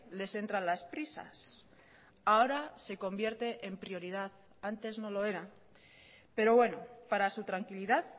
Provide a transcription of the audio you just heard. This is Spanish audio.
les entran las prisas ahora se convierte en prioridad antes no lo era pero bueno para su tranquilidad